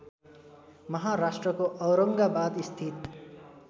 महाराष्ट्रको औरङ्गाबाद स्थित